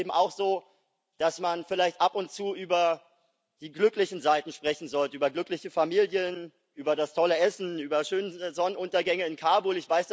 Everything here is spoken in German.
Aber es ist eben auch so, dass man vielleicht ab und zu über die glücklichen Seiten sprechen sollte über glückliche Familien, über das tolle Essen, über schöne Sonnenuntergänge in Kabul.